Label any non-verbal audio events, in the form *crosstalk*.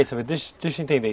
*unintelligible* deixa deixa eu entender.